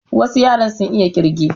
Wasu yaran sun iya ƙirge